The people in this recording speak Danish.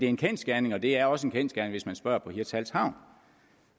en kendsgerning og det er også en kendsgerning hvis man spørger på hirtshals havn